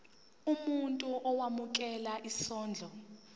umuntu owemukela isondlo